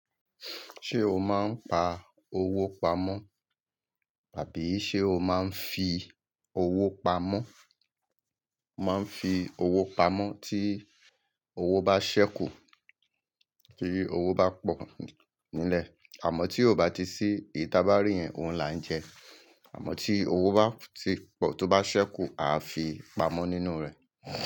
Ṣé o máa ń pa owó pamọ́? Àbí ṣe o máa ń fi owó pamọ́? Máa ń fi owó pamọ́ tí owó bá ṣẹ́kù, tí owó bá pọ̀ nílẹ̀. Àmọ́ tí ó bá ti sí eyi taa bá rí yẹn, òun là ń jẹ. Àmọ́ tí owó bá ti pọ̀, tó bá ṣẹ́kù, aa fi pamọ́ nínú rẹ̀.